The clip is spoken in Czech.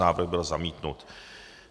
Návrh byl zamítnut.